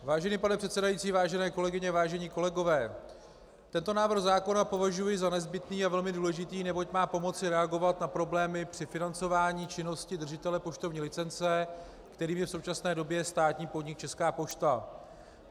Vážený pane předsedající, vážené kolegyně, vážení kolegové, tento návrh zákona považuji za nezbytný a velmi důležitý, neboť má pomoci reagovat na problémy při financování činnosti držitele poštovní licence, kterým je v současné době státní podnik Česká pošta.